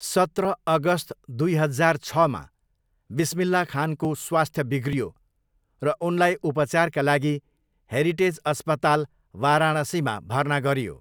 सत्र अगस्त दुई हजार छमा, बिस्मिल्लाह खानको स्वास्थ्य बिग्रियो र उनलाई उपचारका लागि हेरिटेज अस्पताल, वाराणसीमा भर्ना गरियो।